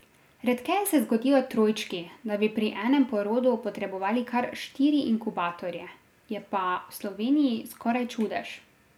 Redkeje se zgodijo trojčki, da bi pri enem porodu potrebovali kar štiri inkubatorje, je pa v Sloveniji skoraj čudež.